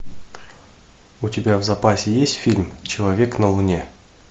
у тебя в запасе есть фильм человек на луне